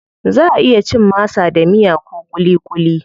Zaʼa iya cin masa da miya ko kulikuli.